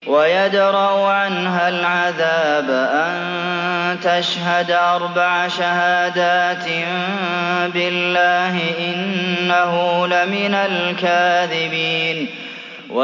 وَيَدْرَأُ عَنْهَا الْعَذَابَ أَن تَشْهَدَ أَرْبَعَ شَهَادَاتٍ بِاللَّهِ ۙ إِنَّهُ لَمِنَ الْكَاذِبِينَ